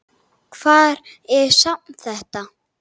Hvar er safn þetta?